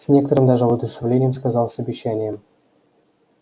с некоторым даже воодушевлением сказал с обещанием